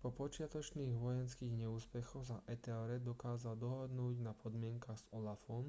po počiatočných vojenských neúspechoch sa ethelred dokázal dohodnúť na podmienkach s olafom